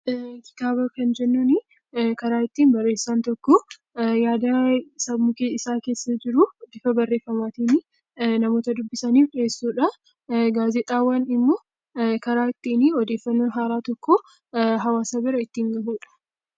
Kitaaba kan jennuun karaa ittiin barreessaan tokko yaada sammuu isaa keessa jiru bifa barreeffamaatiin namoota dubbisaniif dhiyeessudha. Gaazexaawwan immoo karaa ittiin odeeffannoon haaraa tokko hawaasa bira ittiin gahudha.